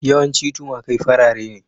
Yawanci tumakai farare ne.